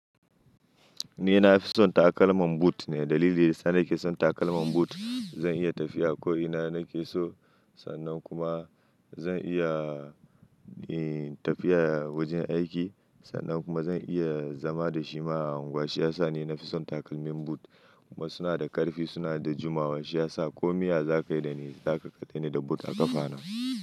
Ni na fi son takalmin boot ne, dalili sanda nake son takalmin boot zan iya tafiya ko ina nake so. Sannan kuma zan iya, eh tafiya wajen aiki sannan kuma zan iya zama da shi ma a unguwa. Shi ya sa nu nafi son takalmin boot kuma suna da ƙarfi suna da jimawa. Shi ya sa komai ya zakai da ni, ta ƙaƙata ne da boot a ƙafa na.